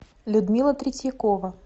людмила третьякова